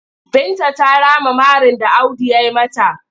Binta ta rama marin da Audu ya yi mata.